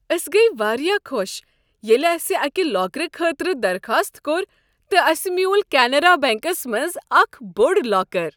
أسۍ گٔیہ واریاہ خوش ییٚلہ اسہ اکہ لاکرٕ خٲطرٕ درخاست کوٚر تہٕ اسہ میوٗل کینرا بیٚنٛکس منٛز اکھ بوٚڑ لاکر۔